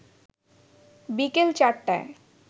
বিকেল চারটায়